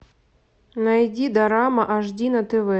найди дорама ашди на тв